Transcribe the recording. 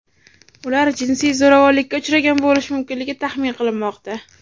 Ular jinsiy zo‘ravonlikka uchragan bo‘lishi mumkinligi taxmin qilinmoqda.